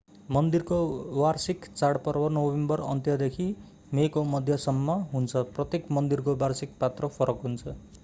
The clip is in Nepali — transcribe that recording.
मन्दिरको वार्षिक चाडपर्व नोभेम्बर अन्त्यदेखि मेको मध्यसम्म हुन्छ प्रत्येक मन्दिरको वार्षिक पात्रो फरक हुन्छ